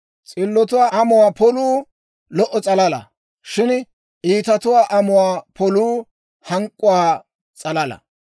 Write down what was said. S'illotuwaa amuwaa poluu lo"o s'alala; shin iitatuwaa amuwaa poluu hank'k'uwaa s'alala.